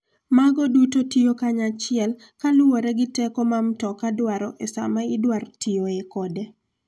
Mago duto tiyo kanyachiel kaluwore gi teko ma mtoka dwaro e sa ma idwaro tiyoe kode.